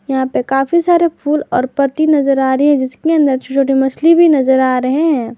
यहां पे काफी सारे फूल और पत्ती नजर आ रही है जिसके अंदर छोटे छोटे मछली भी नजर आ रहे हैं।